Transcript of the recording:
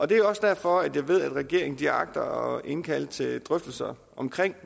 det er også derfor at regeringen agter at indkalde til drøftelser om